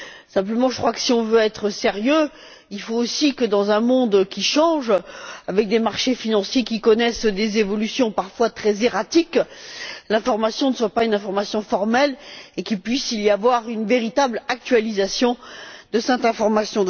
Seulement, je crois que si l'on veut être sérieux, il faut aussi que, dans un monde qui change, avec des marchés financiers qui connaissent des évolutions parfois très erratiques, l'information ne soit pas une information formelle et qu'il puisse y avoir une véritable actualisation de cette information.